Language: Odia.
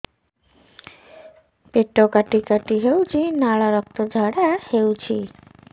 ପେଟ କାଟି କାଟି ହେଉଛି ଲାଳ ରକ୍ତ ଝାଡା ହେଉଛି